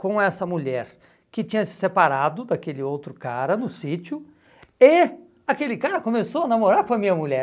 com essa mulher que tinha se separado daquele outro cara no sítio e aquele cara começou a namorar com a minha mulher.